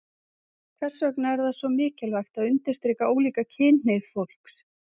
Hvers vegna er það svo mikilvægt að undirstrika ólíka kynhneigð fólks?